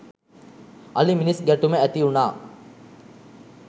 අලි මිනිස් ගැටුම ඇති වුණා.